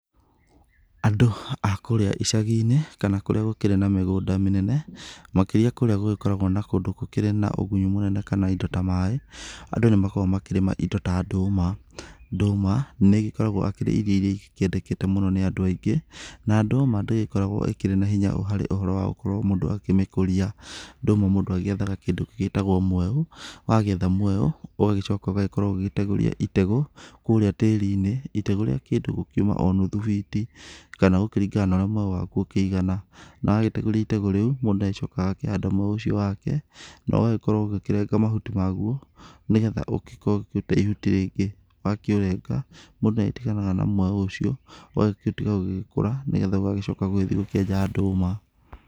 Andũ a kũũrĩa icagi-inĩ kana kũria gũgĩkĩrĩ na migũnda mĩnene, makĩrĩa kũrĩa gũgĩkoragwo gũkĩrĩ na ũgunyu mũnene kana indo ta maĩ. Andũ nimakoragwo makĩrĩma indo ta ndũma. Ndũma nĩ ikoragwo ikĩrĩ irio iria ikoragwo ikĩendekete mũno nĩ andũ aingĩ. Na ndũma ndĩgĩkoragwo ĩkĩrĩ na hinya ũhoro wa mũndũ gũkorwo akĩmĩkũria. Ndũma mũndũ akoragwo agĩetha kĩndũ gĩgĩtagwo mwaũ. Wagĩetha mwaũ ũgacoka ũgakorwo ũgĩtegũrithia itegũ kũrĩa tĩĩri-inĩ. Itegũ rĩa kuuma o kĩndu nuthu biti, kana kũringana na ũría mwaũ waku ũkĩigana. Na wagĩtegũria itegũ rĩu, mũndũ nĩagĩcokaga agakĩhanda mwaũ ũcio wake, na ũgaĩkorwo ũgĩkĩrenga mahuti maguo, nĩgetha ũgĩkorwo ũkĩruta ihuti rĩngĩ. Wakĩũrenga, mũndũ nĩ agĩtiganaga na mwaũ ũcio ũgagĩtuĩka wa gũgĩkũra nĩgetha ũgagĩcoka gũgĩgĩthiĩ ũgakĩenja ndũma.